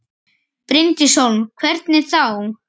Bryndís Hólm: Hvernig þá?